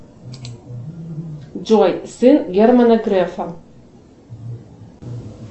джой сын германа грефа